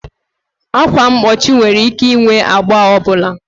Ákwà mgbochi nwere ike ịnwe agba ọ bụla